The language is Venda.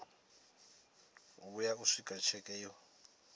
vhuya u swika tsheke yo